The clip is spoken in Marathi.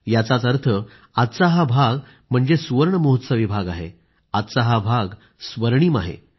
याचाच अर्थ आजचा हा भाग म्हणजे सुवर्ण महोत्सवी भाग आहे म्हणजेच सुवर्ण अक्षराने लिहावा असा हा भाग आहे